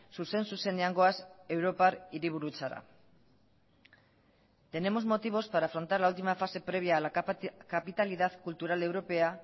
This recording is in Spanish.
zuzen zuzenean goaz europar hiriburutzara tenemos motivos para afrontar la última fase previa a la capitalidad cultural europea